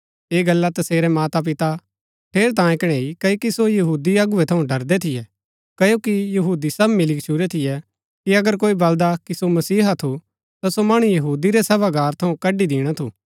ऐह गल्ला तसेरै मातापिता ठेरैतांये कणैई क्ओकि सो यहूदी अगुवै थऊँ डरदै थियै क्ओकि यहूदी सब मिली गच्छुरै थियै कि अगर कोई बलदा कि सो मसीहा थू ता सो मणु यहूदी रै सभागार थऊँ कड्ड़ी दिणा थू